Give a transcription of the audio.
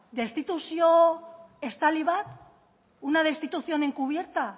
destituzio estali bat una destitución encubierta